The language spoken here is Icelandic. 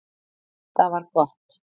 Það var gott